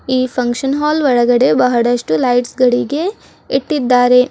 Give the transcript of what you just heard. ಈ function hall ಒಳಗಡೆ ಬಹಳಷ್ಟು ಲೈಟ್ಸ್ ಗಳಿಗೆ ಇಟ್ಟಿದ್ದಾರೆ.